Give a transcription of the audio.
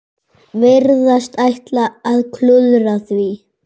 Virðast ætla að klúðra því.